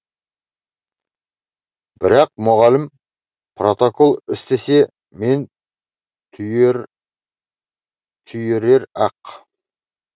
бірақ мұғалім протокол істесе мені түйерер ақ